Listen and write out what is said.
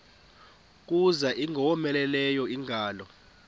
kuza ingowomeleleyo ingalo